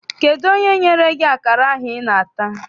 Kedụ onye nyere gị akara ahụ I na-ata?